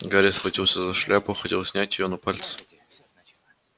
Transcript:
гарри схватился за шляпу хотел снять её но пальцы